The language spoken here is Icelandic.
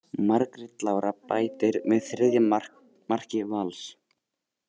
Margrét Lára bætir við þriðja marki Vals.